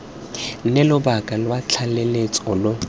nne lobaka lwa tlaleletso lo